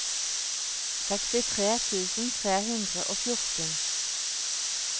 sekstitre tusen tre hundre og fjorten